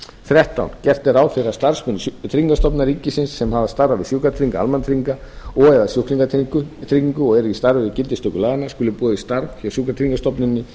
þrettán gert er ráð fyrir að starfsmönnum tryggingastofnunar ríkisins sem hafa starfað við sjúkratryggingar almannatrygginga og eða sjúklingatryggingu og eru í starfi við gildistöku laganna skuli boðið starf hjá sjúkratryggingastofnuninni